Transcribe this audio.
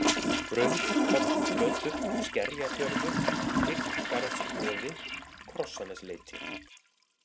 Rauðkolluflötur, Skerjafjörður, Bygggarðsboði, Krossanesleiti